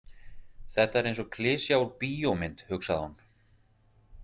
Þetta er eins og klisja úr bíómynd, hugsaði hún.